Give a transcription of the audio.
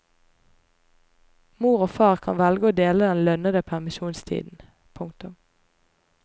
Mor og far kan velge å dele den lønnede permisjonstiden. punktum